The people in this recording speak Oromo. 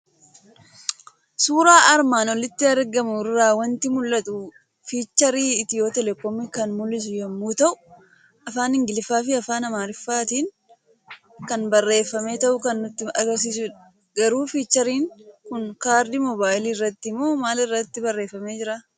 Suuraa armaan olitti argamu irraa waanti mul'atu; fiicharii Itiyoo telekoomi kan mul'su yommuu ta'u, afaan ingiliffaafi afaan amaaratin kan barreeffamee ta'uu kan nutti agarsiisudha. Garuu fiichariin kun kaardii moobayilii irratti moo maal irratti barreeffamee jiraa?